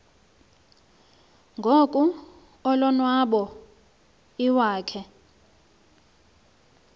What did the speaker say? ngoko ulonwabo iwakhe